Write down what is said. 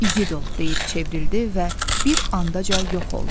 İgid ol deyib çevrildi və bir anda yox oldu.